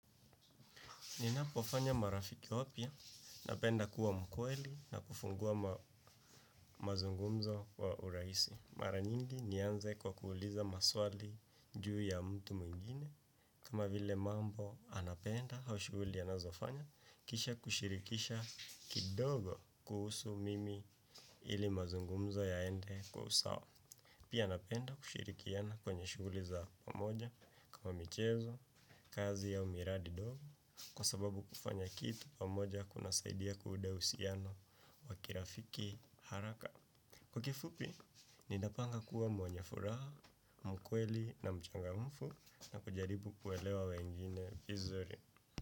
Ninapofanya marafiki opia, napenda kuwa mkweli na kufungua mazungumzo wa uraisi. Mara nyingi nianze kwa kuhuliza maswali juu ya mtu mwingine kama vile mambo anapenda haushuguli anazofanya kisha kushirikisha kidogo kuhusu mimi ili mazungumzo yaende kwa husawa. Pia napenda kushirikiana kwenye shuguli za pamoja kama michezo, kazi ya miradi dogo, kwa sababu kufanya kitu pamoja kuna saidia kude usiano wakirafiki haraka. Kwa kifupi, ni napanga kuwa mwenye furaha, mkweli na mchanga mfu na kujaripu kuelewa wengine vizuri.